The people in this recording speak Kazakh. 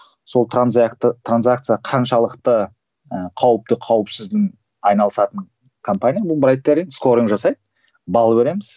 сол транзакция қаншалықты ііі қауіпті қауіпсіздің айналысатын компания скоринг жасайды балл береміз